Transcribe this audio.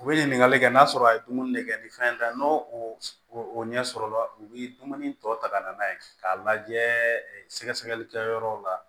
U bɛ ɲininkali kɛ n'a sɔrɔ a ye dumuni kɛ ni fɛn tɛ n'o o ɲɛsɔrɔla u bɛ dumuni tɔ ta ka na n'a ye k'a lajɛ sɛgɛsɛgɛli kɛyɔrɔw la